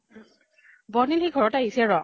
বৰ্ণিল সি ঘৰত আহিছে ৰ।